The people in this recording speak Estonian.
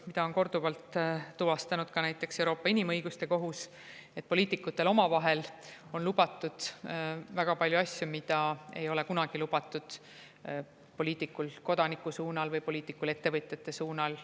Seda on korduvalt tuvastanud näiteks ka Euroopa Inimõiguste Kohus, et poliitikutel on omavahel lubatud väga palju asju, mida ei ole kunagi lubatud poliitikul kodanikuga või poliitikul ettevõtjatega suheldes.